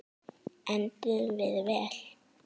Enduðum við vel?